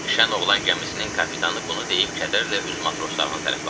Şən oğlan gəmisinin kapitanı bunu deyib kədərlə öz matroslarına tərəf baxdı.